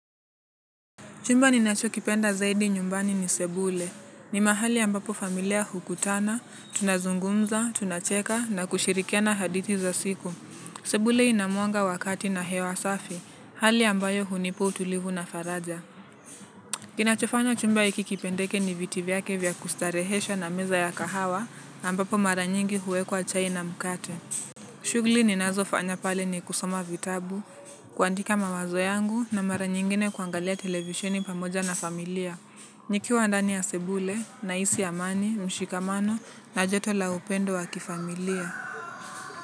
Chumba ninachokipenda zaidi nyumbani ni sebule. Ni mahali ambapo familia hukutana, tunazungumza, tunacheka na kushirikiana hadithi za siku. Sebule ina mwanga wakati na hewa safi, hali ambayo hunipa utulivu na faraja. Kinachofanya chumba hiki kipendeke ni viti vyake vya kustarehesha na meza ya kahawa ambapo mara nyingi huwekwa chai na mkate. Shughuli ninazofanya pale ni kusoma vitabu, kuandika mawazo yangu na mara nyingine kuangalia televisheni pamoja na familia. Nikiwa ndani ya sebule, nahisi amani, mshikamano na joto la upendo wa kifamilia.